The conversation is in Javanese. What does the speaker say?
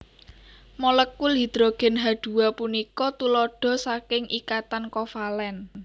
Molèkul hidrogén H dua punika tuladha saking ikatan kovalèn